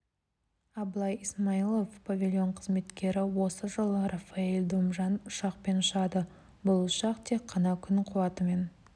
абылай исмаилов павильон қызметкері осы жылы рафаэль домжан ұшақпен ұшады бұл ұшақ тек қана күн қуатымен